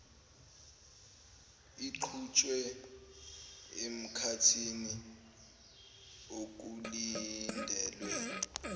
iqhutshwe emkhathini okulindelwe